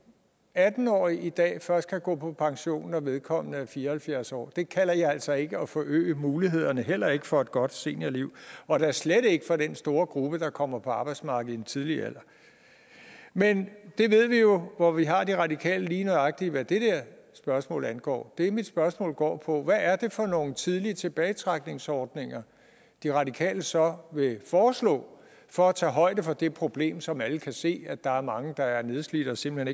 er atten år i dag først kan gå på pension når vedkommende er fire og halvfjerds år det kalder jeg altså ikke at forøge mulighederne heller ikke for et godt seniorliv og da slet ikke for den store gruppe der kommer på arbejdsmarkedet i en tidlig alder men vi ved jo hvor vi har de radikale lige nøjagtig hvad det spørgsmål angår det mit spørgsmål går på er hvad er det for nogle tidlig tilbagetrækningsordninger de radikale så vil foreslå for at tage højde for det problem som alle kan se nemlig at der er mange der er nedslidte og simpelt